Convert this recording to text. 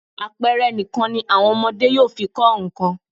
Àpẹẹre nìkan ni àwọn ọmọdé yóò fi kọ nǹkan.